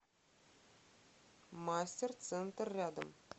мастер центр рядом